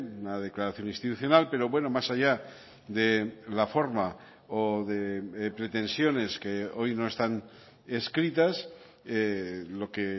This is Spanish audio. una declaración institucional pero bueno más allá de la forma o de pretensiones que hoy no están escritas lo que